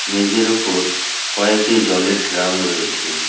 মেঝের ওপর কয়েকটি জলের ড্রাম রয়েছে।